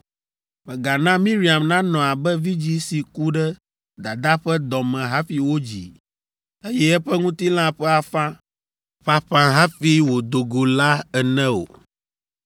Mègana Miriam nanɔ abe vidzĩ si ku ɖe dadaa ƒe dɔ me hafi wodzii, eye eƒe ŋutilã ƒe afã ƒaƒã hafi wòdo go la ene o.”